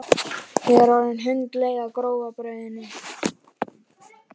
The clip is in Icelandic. Eða hafði hann aðeins verið uppfullur af metnaði og tilgerð?